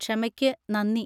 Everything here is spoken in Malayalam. ക്ഷമയ്ക്ക് നന്ദി.